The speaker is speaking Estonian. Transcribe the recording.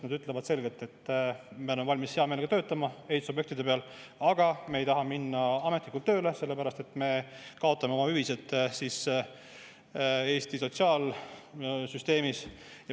Nad ütlevad selgelt, et me oleme valmis hea meelega töötama ehitusobjektide peal, aga me ei taha minna ametlikult tööle, sellepärast et me kaotame oma hüvised Eesti sotsiaalsüsteemis.